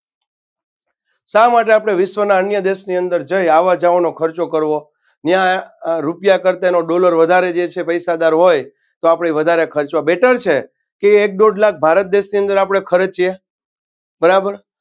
શા માટે વિશ્વના અન્ય દેશોની અંદર જઈ આવા જવાનો ખર્ચો કરવો ન્યા આ રૂપિયા કરતાં એનો dollar વધારે જે છે પૈસાદાર હોય તો આપણે વધારે ખર્ચવા better છે કે એક દોડ ભારત દેશની અંદર આપણે ખર્ચીએ બરાબર